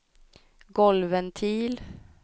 golvventil